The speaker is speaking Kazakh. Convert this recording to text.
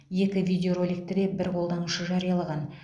екі видеороликті де бір қолданушы жариялаған